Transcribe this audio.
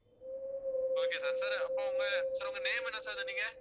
okay sir sir அப்ப உங்க sir உங்க name என்ன sir சொன்னிங்க